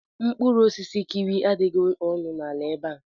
Mkpụrụ osisi kiwi adịghị ọnụ ala ebe a.